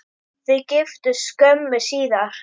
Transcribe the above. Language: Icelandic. Þau giftust skömmu síðar.